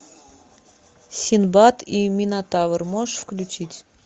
синдбад и минотавр можешь включить